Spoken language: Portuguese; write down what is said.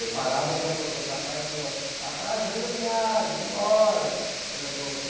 Eu parava para fotografar e ele falava, está atrasando a viagem, vamos embora.